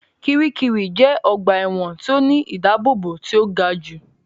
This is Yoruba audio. Kiríkirì jẹ́ ọgbà ẹ̀wọ̀n tí ó ní ìdábóbò tí ó ga jù